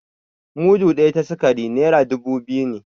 Mudu ɗaya ta sikari naira dubu biyu ne